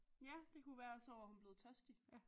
Ja det kunne være og så var hun blevet tørstig